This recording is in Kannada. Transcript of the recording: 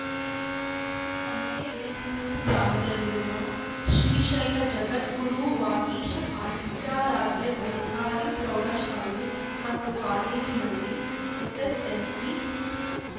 ಸಂತೆಬೆನ್ನೂರು ಗ್ರಾಮದಲ್ಲಿರುವ ಶ್ರೀಶೈಲ ಜಗದ್ಗುರು ವಾಗೀಶ ಪಾಂಡಿತಾರಾಧ್ಯ ಸರ್ಕಾರಿ ಪ್ರೌಢಶಾಲೆ ಮತ್ತು ಕಾಲೇಜಿನಲ್ಲಿ ಎಸ್‌ಎಸ್‌ಎಲ್‌ಸಿ